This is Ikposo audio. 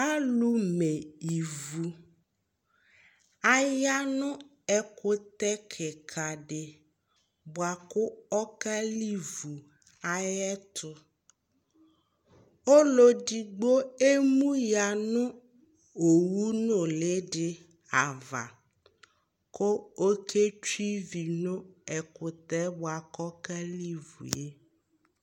alò me ivu aya no ɛkutɛ keka di boa kò ɔka livu ayi ɛto ɔlò edigbo emu ya no owu nuli di ava kò oke tsue ivi no ɛkutɛ boa k'ɔka livu yɛ